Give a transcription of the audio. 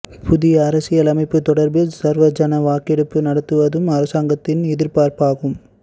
புதிய அரசியல் யாப்பு தொடர்பில் சர்வஐன வாக்கெடுப்பை நடத்துவதும் அரசாங்கத்தின் எதிர்ப்பார்ப்பாகும்